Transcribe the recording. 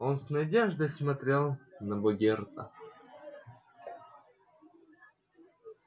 он с надеждой смотрел на богерта